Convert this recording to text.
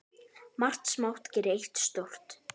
Margt smátt gerir eitt stórt